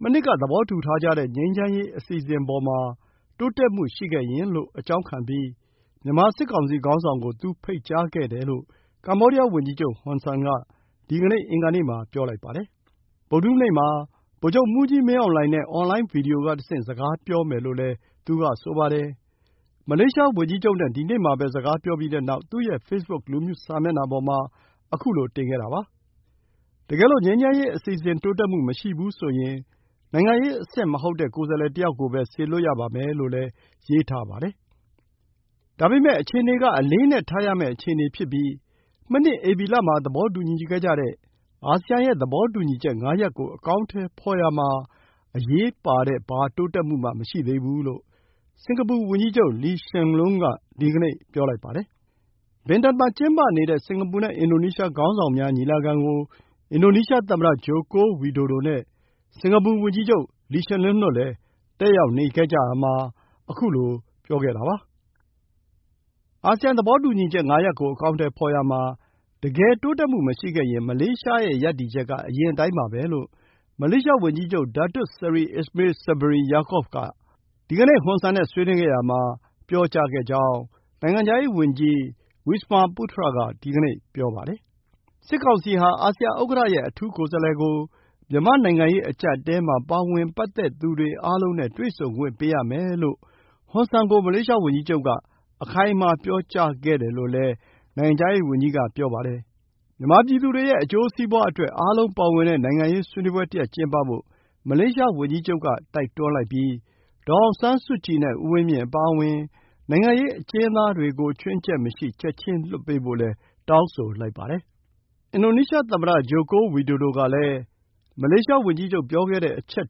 မနှစ် က သဘောထူထားတဲ့ ငြိမ်းချမ်းရေး အစီအစဉ် အပေါ်မှာ တိုးတက်မှု ရှိခဲ့ရင် လို့ အကြောင်းခံပြီး၊ မြန်မာ စစ်ကောင်စီ ခေါင်းဆောင် ကို သူ ဖိတ်ကြားခဲ့တယ်လို့ ကမ္ဘောဒီယား ဝန်ကြီးချုပ် ဟွန်ဆန် က ဒီနေ့ အင်္ဂါနေ့ မှာ ပြောပါတယ်။ ဗုဒ္ဓဟူးနေ့ မှာ ဗိုလ်ချုပ်မှူးကြီး မင်းအောင်လှိုင် နဲ့ အွန်လိုင်း ဗွီဒီယို က တဆင့် စကားပြောမယ်လို့ ဆိုပါတယ်။ မလေးရှား ဝန်ကြီးချုပ် နဲ့ ဒီနေ့မှာပဲ စကားပြောပြီးတဲ့နောက် သူ့ ရဲ့ Facebook လူမှု စာမျက်နှာပေါ်မှာ ခုလို ပြောခဲ့တာပါ။ တကယ်လို့ ငြိမ်းချမ်းရေး အစီအစဉ် တိုးတက်မှု မရှိဘူး ဆိုရင်၊ နိုင်ငံရေး အဆင့် မဟုတ်တဲ့ ကိုယ်စားလှယ်တစ်ယောက် ကို စေလွှတ်ရပါမယ် လို့လည်း ရေးထားပါတယ်။ ဒါပေမဲ့ အခြေအနေ က အလေးအနက် ထားရမယ့် အခြေအနေဖြစ်ပြီး၊ မနှစ် ဧပြီ မှာ သဘောတူခဲ့ကြတဲ့ အာဆီယန် ရဲ့ သဘောတူညီချက် ၅ ရပ် ကို အကောင်အထည်ဖော်ရာမှာ အရေးပါတဲ့ ဘာတိုးတက်မှုမှ မရှိသေးဘူး လို့ စင်္ကာပူ ဝန်ကြီးချုပ် Lee Hsien Loong က ဒီနေ့ ပြောလိုက်ပါတယ်။ ဘင်တန် Bintan မှာ ကျင်းပနေတဲ့ စင်္ကာပူ နဲ့ အင်ဒိုနီးရှား ခေါင်းဆောင်များ ညီလာခံ ကို အင်ဒိုနီးရှား သမ္မတ ဂျိုကို ဝီဒိုဒို နဲ့ စင်္ကာပူ ဝန်ကြီးချုပ် လီရှင်လွန်း တို့လည်း တက်ရောက်နေရာ မှာ ခုလို ပြောလိုက်တာပါ။ ဒီကနေ့ ဟွန်ဆန် နဲ့ ဆွေးနွေးခဲ့ရာမှာ သဘောတူညီချက် ၅ ရပ် ကို အကောင်အထည် ဖော်ရာမှာ၊ တကယ် တိုးတက်မှု မရှိခဲ့ရင်၊ မလေးရှား ရဲ့ ရပ်တည်ချက် က အရင်အတိုင်းပါပဲ လို့ မလေးရှား ဝန်ကြီးချုပ် ဒါတွတ် ဆရီ အစ္စမေး ဆဘရီ ယာကော့ဗ် Datuk Seri Ismail Sabri Yaakob က ဟွန်ဆန် ကို ပြောကြားခဲ့ကြောင်း နိုင်ငံခြားရေး ဝန်ကြီး ဝီစမာ ပုထြ (Wisma Putra) က ဒီကနေ့ ပြောပါတယ်။ စစ်ကောင်စီ ဟာ အာဆီယန် ဥက္ကဌ ရဲ့ အထူးကိုယ်စားလှယ် ကို မြန်မာ့ နိုင်ငံရေး အကျပ်အတည်း မှာ ပါဝင်ပတ်သက်သူတွေ အားလုံး နဲ့ တွေ့ဆုံခွင့် ပေးရမယ် လို့ ဟွန်ဆန် ကို မလေးရှားဝန်ကြီးချုပ် က အခိုင်အမာ ပြောကြားခဲ့တယ်လို့ ဆိုပါတယ်။ မြန်မာ ပြည်သူတွေ ရဲ့ အကျိုးစီးပွါးအတွက် အားလုံးပါဝင်တဲ့ နိုင်ငံရေး ဆွေးနွေးပွဲ တစ်ရပ် ကျင်းပဖို့ မလေးရှား ဝန်ကြီးချုပ် က တိုက်တွန်းလိုက်ပြီး၊ ဒေါ်အောင်ဆန်းစုကြည် နဲ့ ဦးဝင်းမြင့် အပါအဝင် နိုင်ငံရေး အကျဉ်းသားတွေ ကို ချွင်းချက်မရှိ ချက်ချင်း လွှတ်ဖို့လည်း တောင်းဆိုလိုက်ပါတယ်။ အင်ဒိုနီးရှား သမ္မတ Joko Widodo ကလည်း မလေးရှား ဝန်ကြီးချုပ် ပြောခဲ့တဲ့ အချက်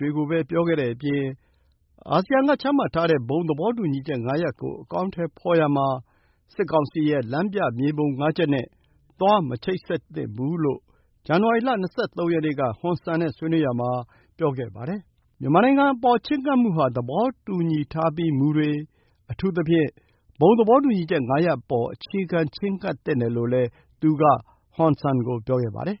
တွေကိုပဲ ပြောခဲ့တဲ့အပြင် အာဆီယံ က ချမှတ်ထားတဲ့ ဘုံသဘောတူညီချက် ၅ ရပ် ကို အကောင်အထည်ဖော်ရာမှာ စစ်ကောင်စီ ရဲ့ လမ်းပြမြေပုံ ငါးချက် နဲ့ သွား မချိတ်ဆက်သင့်ဘူး လို့ ဇန်နဝါရီလ ၂၃ ရက်နေ့ က ဟွန်ဆန် နဲ့ ဆွေးနွေးရာမှာ ပြောခဲ့ပါတယ်။ မြန်မာနိုင်ငံ အပေါ် ချဉ်းကပ်မှု ဟာ သဘောတူညီထားပြီး မူတွေ၊ အထူးသဖြင့် ဘုံသဘောတူညီချက် ၅ ရပ် အပေါ် အခြေခံ ချဉ်းကပ်သင့်တယ်လို့လည်း သူ က ဆိုခဲ့ပါတယ်